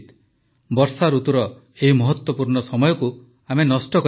ବର୍ଷାଋତୁର ଏହି ମହତ୍ୱପୂର୍ଣ୍ଣ ସମୟକୁ ଆମେ ନଷ୍ଟ କରିବା ନାହିଁ